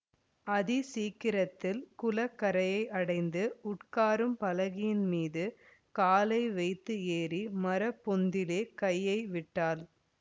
அதி சீக்கிரத்தில் குளக்கரையை அடைந்து உட்காரும் பலகையின் மீது காலை வைத்து ஏறி மரப்பொந்திலே கையை விட்டாள்